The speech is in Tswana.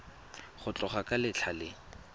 go tloga ka letlha le